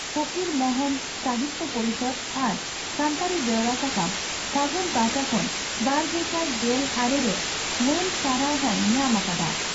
ᱯᱷᱚᱠᱤᱨ ᱢᱚᱦᱚᱱ ᱥᱟᱦᱤᱛᱭᱚ ᱯᱚᱨᱤᱥᱚᱫᱽ ᱟᱨ ᱥᱟᱱᱛᱟᱲᱤ ᱵᱮᱣᱨᱟ ᱥᱟᱠᱟᱢ 'ᱯᱷᱟᱹᱜᱩᱱ' ᱯᱟᱦᱴᱟ ᱠᱷᱚᱱ ᱵᱟᱨᱜᱮᱥᱟᱭ ᱜᱮᱞ ᱟᱨᱮ ᱨᱮ ᱢᱟᱹᱱ ᱥᱟᱨᱦᱟᱣ ᱦᱚᱸᱭ ᱧᱟᱢ ᱟᱠᱟᱫᱼᱟ ᱾